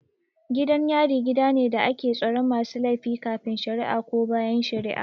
Gidan yari gidane da ake tsaron masu laifin kafin shara'a ko bayan shara'a